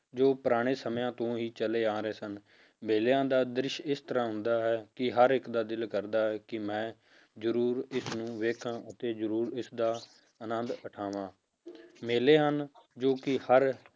ਜੋ ਪੁਰਾਣੇ ਸਮਿਆਂ ਤੋਂ ਹੀ ਚੱਲੇ ਆ ਰਹੇ ਸਨ, ਮੇਲਿਆਂ ਦਾ ਦ੍ਰਿਸ਼ ਇਸ ਤਰ੍ਹਾਂ ਹੁੰਦਾ ਹੈ ਕਿ ਹਰ ਇੱਕ ਦਾ ਦਿਲ ਕਰਦਾ ਹੈ ਕਿ ਮੈਂ ਜ਼ਰੂਰ ਇਸਨੂੰ ਵੇਖਾਂ ਤੇ ਜ਼ਰੂਰ ਇਸਦਾ ਅਨੰਦ ਉਠਾਵਾਂ ਮੇਲੇ ਹਨ ਜੋ ਕਿ ਹਰ